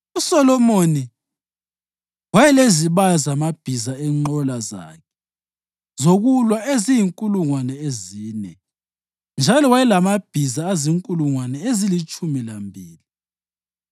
USolomoni wayelezibaya zamabhiza enqola zakhe zokulwa eziyinkulungwane ezine, njalo wayelamabhiza azinkulungwane ezilitshumi lambili.